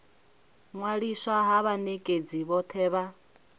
ṅwaliswa ha vhanekedzi vhothe vha